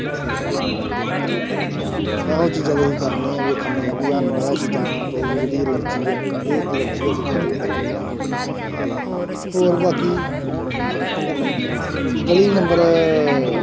ਇਹੋ ਚੀਜ਼ਾਂ ਤੇ ਅਸੀਂ ਕਰਨੇ ਹੈ ਵੇਖਣਦੇ ਹੈ ਵੀ ਸਾਨੂੰ ਇਹ ਚੀਜ਼ਾਂ ਤੋਂ ਜਿਹੜੀ ਐਲਰਜ਼ੀ ਆ ਇਹ ਐਲਰਜ਼ੀ ਸਾਡੀ ਖ਼ਤਮ ਹੋ ਜਾਏ ਹੋਰ ਬਾਕੀ ਗਲੀ number